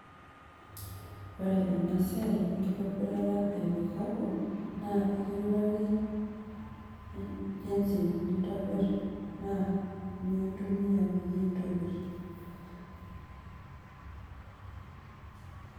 ore ena siai enkitobirata e kikapu naa ekiutari jinsi nintobirr naa inyoo intumia peyie intobirr